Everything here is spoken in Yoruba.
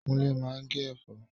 Kúnlé máa ń gé ẹ̀fọ́